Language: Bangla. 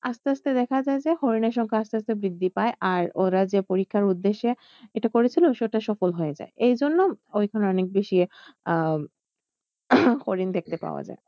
আস্তে আস্তে দেখা যায় যে হরিনের সংখ্যা আস্তে আস্তে বৃদ্ধি পায় আর ওরা যে পরীক্ষার উদ্দেশ্যে এটা করেছিল সেটা সফল হয়ে যায়। এই জন্য ওখানে অনেক বেশি আহ হরিণ দেখতে পাওয়া যায়।